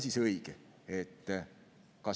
Mis on õige?